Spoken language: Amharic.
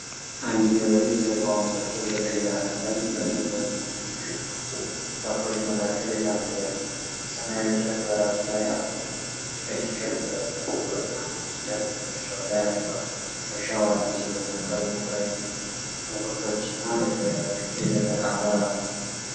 አንድ ገበሬ ጀርባውን ሰጥቶ በቀይ አፈር ላይ በተዘሩ የሽንኩርት ተክሎች መካከል ይራመዳል። ሰማያዊ ጨርቅ በራሱ ላይ አስሯል፤ ቀይ ቲሸርት ለብሷል። ጥቁርና ነጭ ጨርቅ ትከሻው ላይ አድርጓል። እርሻው አዲስ የተተከሉ ረድፍ ሽንኩርቶችና የደረቀ አፈር አለው።